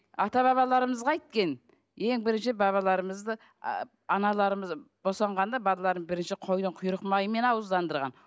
ата бабаларымыз қайткен ең бірінші бабаларымызды ы аналарымыз босанғанда балаларын бірінші қойдың құйрық майымен ауыздандырған